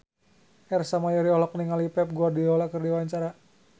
Ersa Mayori olohok ningali Pep Guardiola keur diwawancara